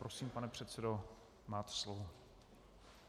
Prosím, pane předsedo, máte slovo.